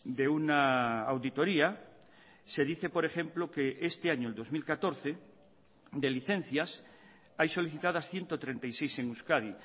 de una auditoría se dice por ejemplo que este año el dos mil catorce de licencias hay solicitadas ciento treinta y seis en euskadi